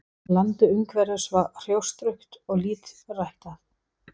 Landið umhverfis var hrjóstrugt og lítt ræktað.